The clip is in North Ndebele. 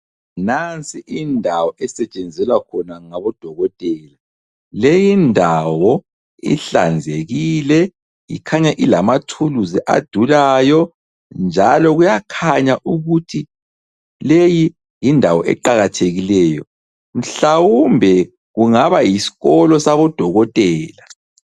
Nansi indawo esetshenzelwa khona ngabo dokotela. Leyi ndawo ihlanzekile ikhanya ilamathuluzi adulayo njalo kuyakhanya ukuthi leyi yindawo eqakathekileyo mhlawumbe kungaba yisikolo sabodokotela.